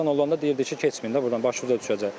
Keçən olanda deyirdik ki, keçməyin də burdan, başınıza düşəcək.